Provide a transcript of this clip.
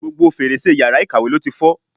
Gbogbo fèrèsé yàrá ìkàwé ló ti fọ́.